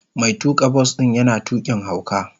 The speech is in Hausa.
Mai tuka bas din yana tukin hauka.